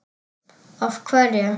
Af hverju.